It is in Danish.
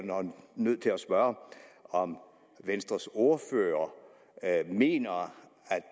nødt til at spørge om venstres ordfører mener at